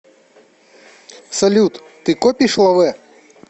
салют ты копишь лавэ